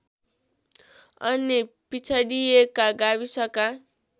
अन्य पिछडिएका गाविसका